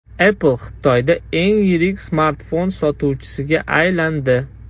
Apple Xitoyda eng yirik smartfon sotuvchisiga aylandi.